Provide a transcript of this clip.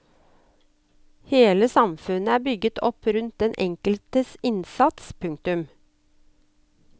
Hele samfunnet er bygget opp rundt den enkeltes innsats. punktum